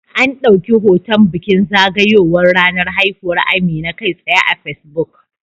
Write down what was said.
An dauki hoton bikin zagayowar ranar haihuwar Amina kai tsaye a Facebook